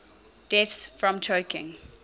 deaths from choking